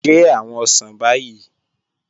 Gẹ́ awọn osán báyì